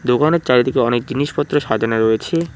দোকানের চারিদিকে অনেক জিনিসপত্র সাজানো রয়েছে।